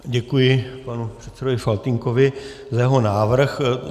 Děkuji panu předsedovi Faltýnkovi za jeho návrh.